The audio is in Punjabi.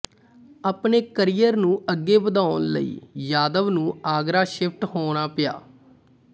ਆਪਣੇ ਕਰੀਅਰ ਨੂੰ ਅੱਗੇ ਵਧਾਉਣ ਲਈ ਯਾਦਵ ਨੂੰ ਆਗਰਾ ਸ਼ਿਫਟ ਹੋਣਾ ਪਿਆ